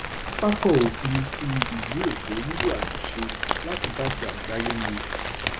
"pápákọ̀ òfurufú ìlú èkó nílò àtúnṣe láti bá ti àgbáyé mu."